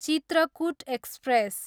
Chitrakoot express